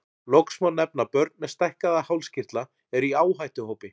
Loks má nefna að börn með stækkaða hálskirtla eru í áhættuhópi.